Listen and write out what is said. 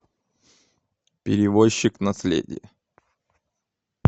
перевозчик наследие